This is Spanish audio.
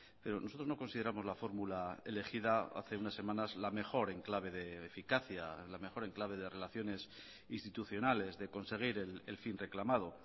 pero nosotros no consideramos la fórmula elegida hace unas semanas la mejor en clave de eficacia la mejor en clave de relaciones institucionales de conseguir el fin reclamado